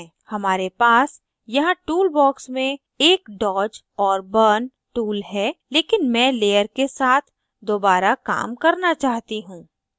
हमारे पास यहाँ tool बॉक्स में एक dodge और burn tool है लेकिन मैं layer के साथ दोबारा काम करना चाहती हूँ